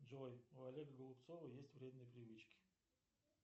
джой у олега голубцова есть вредные привычки